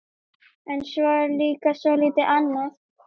En svo er líka soldið annað.